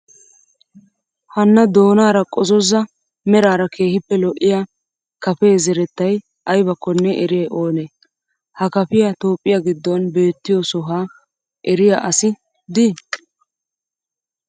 Hanna doonaara qozozza meraara keehippe lo'iyaa kapee zerettayi ayibakkonne eriyayi oonee? Ha kapiyaa Toophphiyaa giddon beettiyoo sohaa eriyaa asi dii?